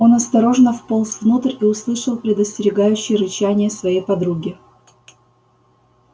он осторожно вполз внутрь и услышал предостерегающее рычание своей подруги